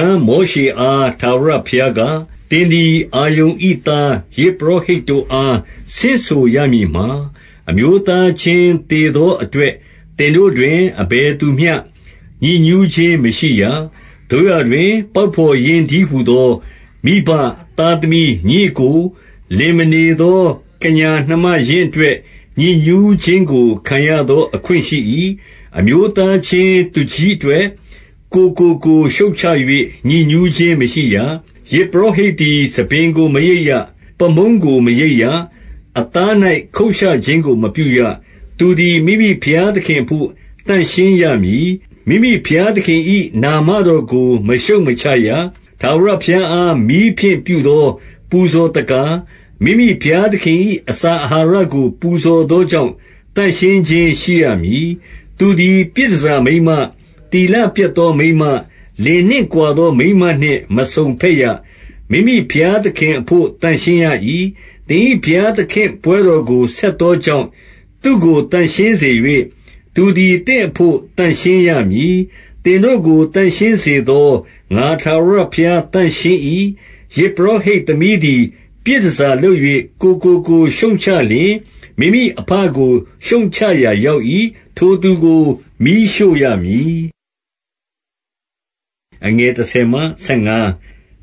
န် မောရှေအား ထာဝရဘုရားက၊ သင်သည် အာရုန်၏သား၊ ယဇ်ပုရောဟိတ်တို့အားဆင့်ဆို ရမည်မှာ၊ အမျိုးသားချင်း သေသောအတွက် သင်တို့တွင် အဘယ်သူမျှ ညစ်ညူးခြင်းမရှိရ။ 2 သို့ရာတွင် ပေါက်ဘော်ရင်းတည်းဟူသော မိဘ၊ သားသမီး၊ ညီအစ်ကို၊- 3 လင်မနေသော ကညာနှမရင်းအတွက် ညစ်ညူးခြင်းကို ခံရသော အခွင့်ရှိ၏။ 4 အမျိုးသားချင်း သူကြီးအတွက်၊ ကိုယ်ကိုကိုယ်ရှုတ်ချ၍ ညစ်ညူးခြင်းမရှိရ။ 5 ယဇ်ပုရောဟိတ်သည် ဆံပင်ကို မရိတ်ရ။ ပါးမုန်းကို မရိတ်ရ။ အသား၌ ခုတ်ရှခြင်းကို မပြုရ။ 6 သူသည် မိမိဘုရားသခင်အဘို့ သန့်ရှင်းရမည်။ မိမိဘုရားသခင်၏ နာမတော်ကို မရှုတ်မချရ။ ထာဝရဘုရားအား မီးဖြင့်ပြုသော ပူဇော်သက္ကာ၊ မိမိဘုရားသခင်၏ အစာအာဟာရကို ပူဇော်သော ကြောင့် သန့်ရှင်းခြင်းရှိရမည်။ 7 သူသည် ပြည်တန်ဆာမိန်းမ၊ သီလပျက်သောမိန်းမ၊ လင်နှင့်ကွာသောမိန်းမနှင့် မစုံဘက်ရ။ မိမိဘုရား သခင်အဘို့ သန့်ရှင်း၏။ 8 သင်၏ ဘုရားသခင်ပွဲတော်ကို ဆက်သောကြောင့်၊ သူ့ကို သန့်ရှင်းစေ၍၊ သူသည် သင့်အဘို့ သန့်ရှင်းရမည်။ သင်တို့ကို သန့်ရှင်းစေသော ငါထာဝရဘုရား သန့်ရှင်း၏။ 9 ယဇ်ပုရောဟိတ်သမီးသည်၊ ပြည်တန်ဆာလုပ်၍ ကိုယ့်ကိုကိုယ်ရှုတ်ချလျှင်၊ မိမိအဘကို ရှုတ်ချရာ ရောက်၏။ ထိုသူကို မီးရှို့ရမည်။ 10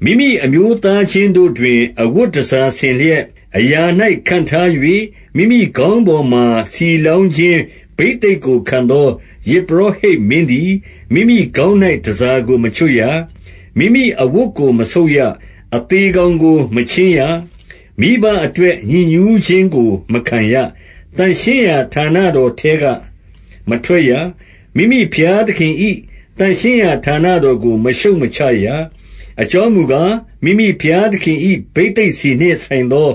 မိမိအမျိုးသားချင်းတို့တွင်၊ အဝတ်တန်ဆာဆင်လျက်၊ အရာ၌ ခန့်ထား၍ မိမိခေါင်းပေါ်မှာ ဆီလောင်းခြင်း ဘိသိက်ကိုခံသော ယဇ်ပုရောဟိတ်မင်းသည်၊ မိမိခေါင်း၌ တန်ဆာကို မချွတ်ရ။ မိမိအဝတ်ကို မဆုတ်ရ။ 11 အသေကောင်ကို မချဉ်းရ။ မိဘအတွက် ညစ်ညူးခြင်းကို မခံရ။ 12 သန့်ရှင်းရာဌာနတော်ထဲက မထွက်ရ။ မိမိဘုရားသခင်၏ သန့်ရှင်းရာဌာနတော်ကို မရှုတ်မချရ။ အကြောင်းမူကား၊ မိမိဘုရားသခင်၏ ဘိသိက်ဆီနှင့်ဆိုင်သော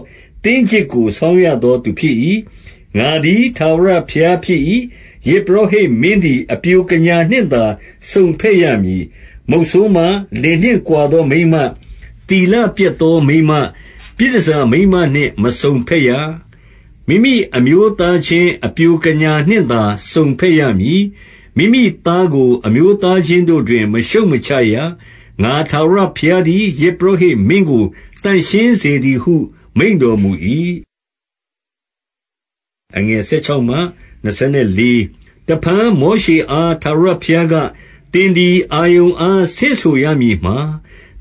သင်းကျစ်ကို ဆောင်းရသောသူ ဖြစ်၏။ ငါသည် ထာဝရဘုရား ဖြစ်၏။ 13 ယဇ်ပုရောဟိတ်မင်းသည်၊ အပျိုကညာနှင့်သာစုံဘက်ရမည်။ 14 မုတ်ဆိုးမ၊ လင်နှင့်ကွာသောမိန်းမ၊ သီလပျက်သောမိန်းမ၊ ပြည်တန်ဆာမိန်းမနှင့် မစုံဘက်ရ။ မိမိအမျိုးသားချင်း အပျိုကညာနှင့်သာ စုံဘက်ရမည်။ 15 မိမိသားကို၊ အမျိုးသားချင်းတို့တွင် မရှုတ်မချရ။ ငါထာဝရဘုရားသည်၊ ယဇ်ပုရောဟိတ်မင်းကို သန့်ရှင်းစေသည်ဟု မိန့်တော်မူ၏။ 16 တဖန်မောရှေအား ထာဝရဘုရားက၊ သင်သည် အာရုန်အား ဆင့်ဆိုရမည်မှာ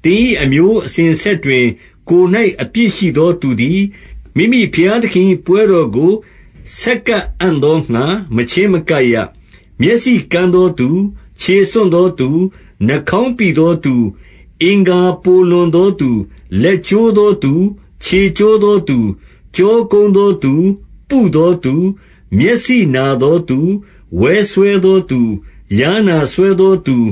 ၊- 17 သင်၏ အမျိုးအစဉ်အဆက်တွင် ကိုယ်၌အပြစ်ရှိသောသူသည်၊ မိမိဘုရားသခင်၏ ပွဲတော်ကို ဆက်ကပ်အံ့သောငှါ မချဉ်းမကပ်ရ။ 18 မျက်စိကန်းသောသူ၊ ခြေဆွံ့သောသူ၊ နှာခေါင်းပိသောသူ၊ အင်္ဂါပိုလွန်သောသူ၊- 19 လက်ကျိုးသောသူ၊ ခြေကျိုးသောသူ၊ 20 ကျောကုန်းသောသူ၊ ပုသောသူ၊ မျက်စိနာသောသူ၊ ဝဲစွဲသောသူ၊ ယားနာစွဲသောသူ၊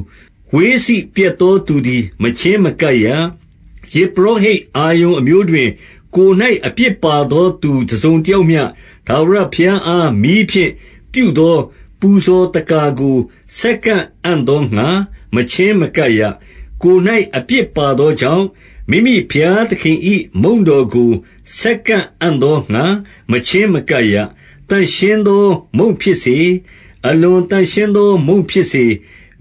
ဝှေးစေ့ပျက်သော သူသည် မချဉ်းမကပ်ရ။- 21 ယဇ်ပုရောဟိတ် အာရုန်အမျိုးတွင်၊ ကိုယ်၌ အပြစ်ပါသောသူ တစုံတယောက်မျှ ထာဝရဘုရားအား မီးဖြင့်ပြုသော ပူဇော်သက္ကာကို ဆက်ကပ်အံ့သောငှါ မချဉ်းမကပ်ရ။ ကိုယ်၌ အပြစ်ပါသောကြောင့်၊ မိမိဘုရားသခင်၏ မုန့်တော်ကို ဆက်ကပ်အံ့သောငှါ မချဉ်းမကပ်ရ။ - 22 သန့်ရှင်းသော မုန့်ဖြစ်စေ၊ အလွန်သန့်ရှင်းသော မုန့်ဖြစ်စေ၊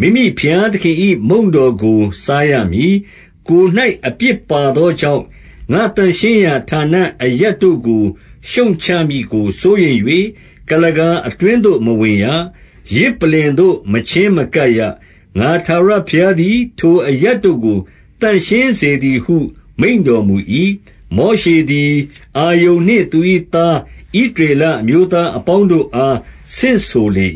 မိမိဘုရားသခင်၏ မုန့်တော်ကို စားရမည်။ 23 ကိုယ်၌ အပြစ်ပါသောကြောင့်၊ ငါ့သန့်ရှင်းရာ ဌာနအရပ်တို့ကို ရှုတ်ချမည်ကို စိုးရိမ်၍၊ ကုလားကာ အတွင်းသို့ မဝင်ရ။ ယဇ်ပလ္လင်သို့ မချဉ်းမကပ်ရ။ ငါထာဝရဘုရားသည် ထိုအရပ်တို့ကို သန့်ရှင်းစေ သည်ဟု မိန့်တော်မူ၏။ 24 မောရှေသည် အာရုန်နှင့် သူ၏သား ဣသရေလ အမျိုးသားအပေါင်းတို့အား ဆင့်ဆိုလေ